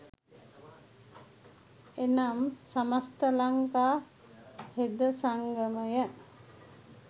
එනම්, සමස්ත ලංකා හෙද සංගමය,